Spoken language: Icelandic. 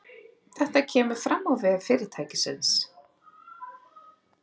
Þetta kemur fram á vef fyrirtækisins